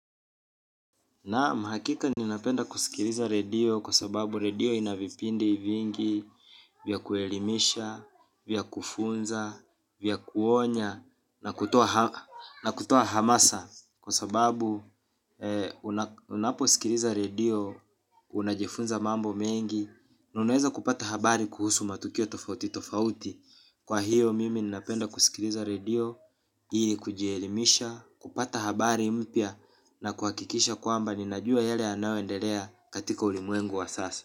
Naam hakika ninapenda kusikiliza redio kwa sababu redio inavipindi vingi vya kuelimisha, vya kufunza, vya kuonya na kutoa hamasa. Kwa sababu unaposikiliza redio, unajifunza mambo mengi, na unaweza kupata habari kuhusu matukio tofauti tofauti. Kwa hiyo mimi ninapenda kusikiliza redio, ili kujielimisha, kupata habari mpya na kuhakikisha kwamba ninajua yale yanayoendelea katika ulimwengu wa sasa.